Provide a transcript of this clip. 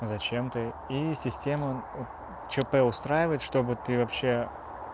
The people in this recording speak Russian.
зачем ты и система ч п устраивает чтобы ты вообще